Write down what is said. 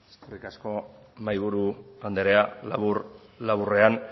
eskerrik asko mahaiburu andrea labur laburrean